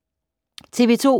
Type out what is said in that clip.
TV 2